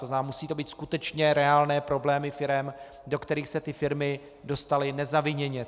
To znamená, musí to být skutečně reálné problémy firem, do kterých se ty firmy dostaly nezaviněně.